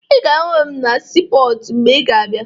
Ị ga-ahụ m na siipọọtụ mgbe ị ga-abịa